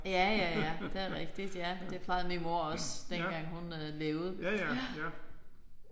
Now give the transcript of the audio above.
Ja ja ja det rigtigt ja. Det plejede min mor også dengang hun øh levede ja